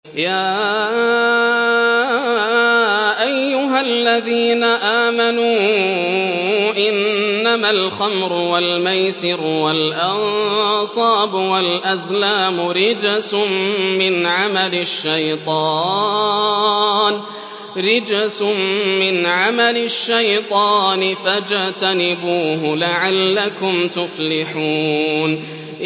يَا أَيُّهَا الَّذِينَ آمَنُوا إِنَّمَا الْخَمْرُ وَالْمَيْسِرُ وَالْأَنصَابُ وَالْأَزْلَامُ رِجْسٌ مِّنْ عَمَلِ الشَّيْطَانِ فَاجْتَنِبُوهُ لَعَلَّكُمْ تُفْلِحُونَ